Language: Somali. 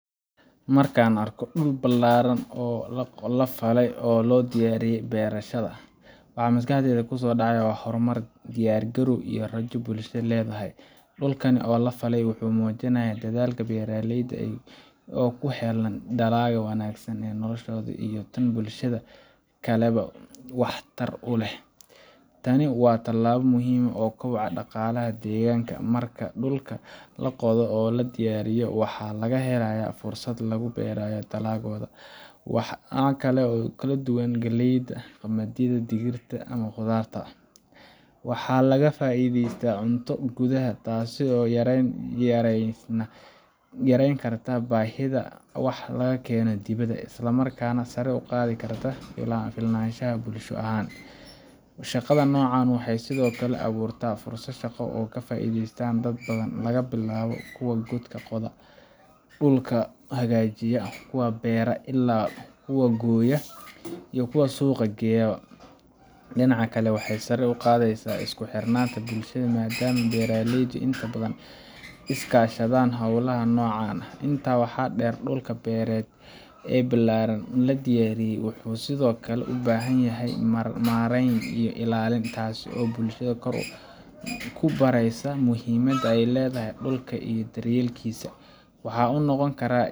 Marka la arko dhul ballaadhan oo la qoday oo loo diyaariyey beerashada, waxa maskaxda ku soo dhacaya horumar, diyaar garow iyo rajo ay bulshada leedahay. Dhulkan la falay wuxuu muujinayaa dadaalka beeraleyda si ay u helaan dalag wanaagsan oo noloshooda iyo tan bulshada kaleba wax tar u leh. Tani waa tallaabo muhiim u ah koboca dhaqaalaha deegaanka. Marka dhulka la qodo oo la diyaariyo, waxa la helayaa fursad lagu beero dalagyo kala duwan sida galleyda, qamadiga, digirta, ama khudaarta. Waxaa laga faa’iidayaa cunto gudaha ah, taasoo yarayn karta baahida wax laga keeno dibadda, isla markaana sare u qaadi karta isku filnaanshaha bulsho ahaan. Shaqada noocan ah waxay sidoo kale abuurtaa fursado shaqo oo ay ka faa’iideystaan dad badan – laga bilaabo kuwa qoda dhulka, kuwa beera, ilaa kuwa gooya iyo kuwa suuq geeya. Dhinaca kale, waxay sare u qaadaysaa isku xirnaanta bulshada, maadaama beeraleydu inta badan iska kaashadaan hawlaha noocan ah. Intaa waxaa dheer, dhul beereedkan la diyaariyey wuxuu sidoo kale u baahan yahay maarayn iyo ilaalin, taasoo bulshada ku baraysa muhiimadda ay leedahay dhulka iyo daryeelkiisa. Waxa uu noqon karaa